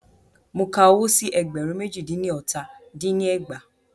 Mo ka owó sí ẹgbẹ̀rún méjì dín ní ọta dín ní ẹgbàá.